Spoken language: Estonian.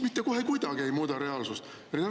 Mitte kohe kuidagi ei muuda reaalsust.